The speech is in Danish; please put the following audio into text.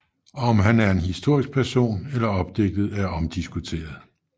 Om han er en historisk person eller opdigtet er omdiskuteret